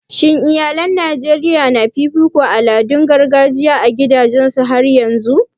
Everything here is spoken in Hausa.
Shin iyalai a Najeriya na fifito al'adun gargajiya a gidajensu har yanzun?